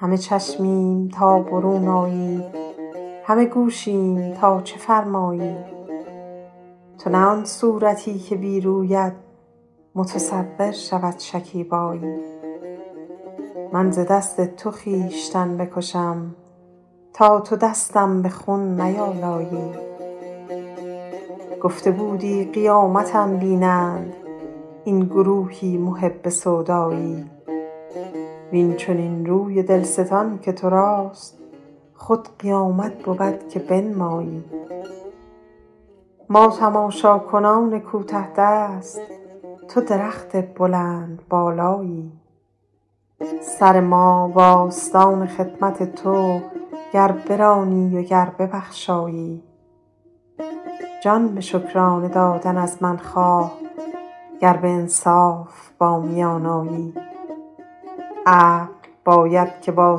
همه چشمیم تا برون آیی همه گوشیم تا چه فرمایی تو نه آن صورتی که بی رویت متصور شود شکیبایی من ز دست تو خویشتن بکشم تا تو دستم به خون نیآلایی گفته بودی قیامتم بینند این گروهی محب سودایی وین چنین روی دل ستان که تو راست خود قیامت بود که بنمایی ما تماشاکنان کوته دست تو درخت بلندبالایی سر ما و آستان خدمت تو گر برانی و گر ببخشایی جان به شکرانه دادن از من خواه گر به انصاف با میان آیی عقل باید که با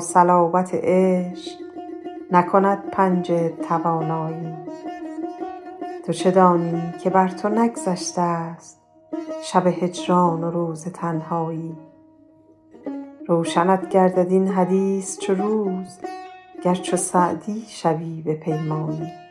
صلابت عشق نکند پنجه توانایی تو چه دانی که بر تو نگذشته ست شب هجران و روز تنهایی روشنت گردد این حدیث چو روز گر چو سعدی شبی بپیمایی